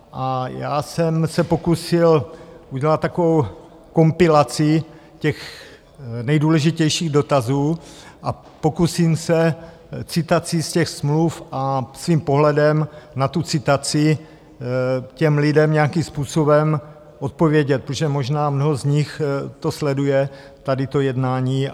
A já jsem se pokusil udělat takovou kompilaci těch nejdůležitějších dotazů a pokusím se citací z těch smluv a svým pohledem na tu citaci těm lidem nějakým způsobem odpovědět, protože možná mnoho z nich to sleduje, tady to jednání.